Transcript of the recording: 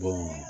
Bon